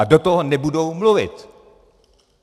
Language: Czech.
A do toho nebudou mluvit.